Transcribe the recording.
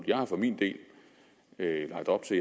jeg har for min del lagt op til